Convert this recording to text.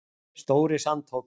stóri sandhóll